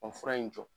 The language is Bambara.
O fura in jɔ